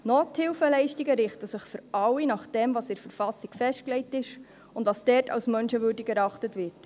Nothilfeleistungen richten sich für alle nach dem, was in der Verfassung festgelegt ist und was dort als menschenwürdig erachtet wird.